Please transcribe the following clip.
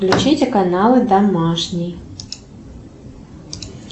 включите каналы домашний